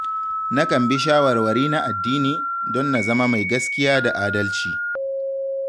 Nakan bi shawarwari na addini, don na zama mai gaskiya da adalci.